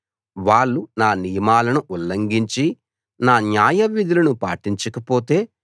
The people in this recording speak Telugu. వాళ్ళు నా నియమాలను ఉల్లంఘించి నా న్యాయవిధులను పాటించకపోతే